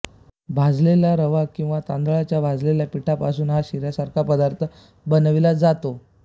भाजलेला रवा किंवा तांदळाच्या भाजलेल्या पिठापासून हा शिऱ्यासारखा पदार्थ बनविला जातो